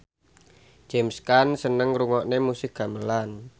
James Caan seneng ngrungokne musik gamelan